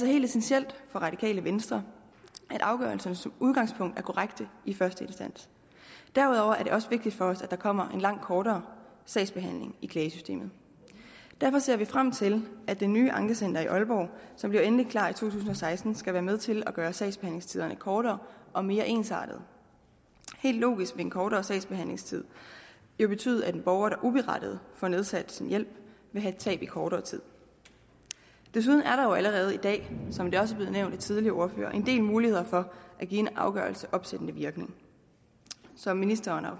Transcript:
helt essentielt for radikale venstre at afgørelserne som udgangspunkt er korrekte i første instans derudover er det også vigtigt for os at der kommer kortere sagsbehandling i klagesystemet derfor ser vi frem til at det nye ankecenter i aalborg som bliver endeligt klar i to tusind og seksten skal være med til at gøre sagsbehandlingstiderne kortere og mere ensartede helt logisk vil en kortere sagsbehandlingstid jo betyde at en borger der uberettiget får nedsat sin hjælp vil have et tab i kortere tid desuden er der jo allerede i dag som det også er blevet nævnt af tidligere ordførere en del muligheder for at give en afgørelse opsættende virkning som ministeren og